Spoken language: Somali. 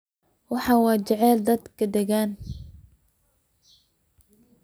Waxan jeclhy dad dagan.